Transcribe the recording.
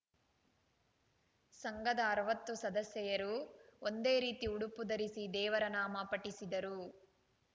ಸಂಘದ ಅರವತ್ತು ಸದಸ್ಯೆಯರು ಒಂದೇ ರೀತಿ ಉಡುಪು ಧರಿಸಿ ದೇವರನಾಮ ಪಠಿಸಿದರು